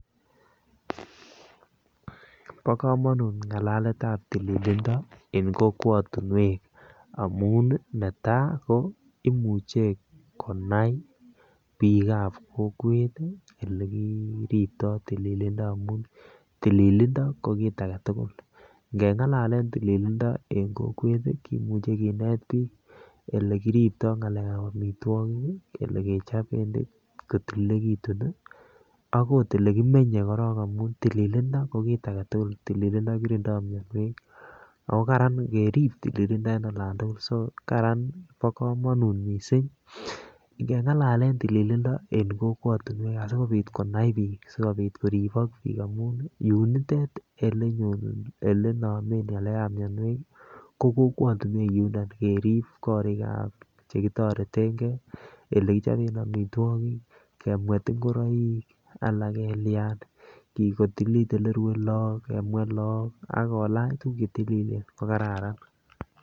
Bo komonut ngalaletab tililindo en kokwet amun netai ko imuche konai bikab kokwet ele kiribto tililindo amun tililindo ko kit agetukul, ngengalalen tillindo en kokwet kimuche kinet bik olekiriptoo ngalekab omitwokik kele kechoben kotililekitun nii ak ot olekimenye korong amun tililindo ko kit agetukul ,tililindo kirindo mionwek ako karan ngerib tililindo en olon tukul so karan bo komonut missing. Ngengalalen tililindo en kokwotunwek asikopit konai bik sikoribo bik amun yunitet olenomen ngalekab mionwek kii ko kokwotunwek yundon kerib korikab chekitoretengee ole kichoben omitwokik, kemwet ingoroik ala kelyan kotililit olerue lok kemwet lok ak kolach tukul chetililen ko kararan.